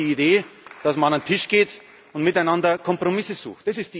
Europa ist die Idee, dass man an den Tisch geht und miteinander Kompromisse